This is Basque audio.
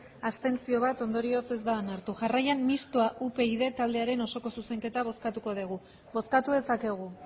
bat abstentzio ondorioz ez da onartu jarraian mistoa upyd taldearen osoko zuzenketa bozkatuko dugu bozkatu dezakegu